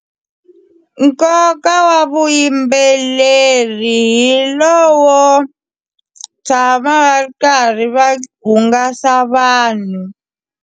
Nkoka wa vuyimbeleri hi lowo tshama va ri karhi va hungasa vanhu.